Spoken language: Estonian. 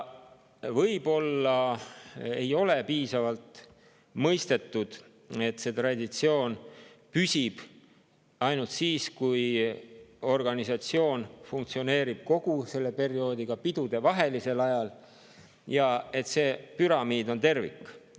Võib-olla ei ole piisavalt mõistetud, et see traditsioon püsib ainult siis, kui organisatsioon funktsioneerib kogu sellel perioodil, ka pidudevahelisel ajal, ja et see püramiid on tervik.